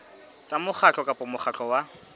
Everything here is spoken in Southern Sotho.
tsa mokgatlo kapa mokgatlo wa